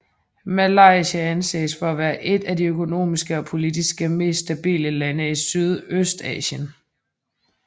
Malaysia anses for at være et af de økonomisk og politisk mest stabile lande i Sydøstasien